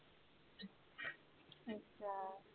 ਹਮ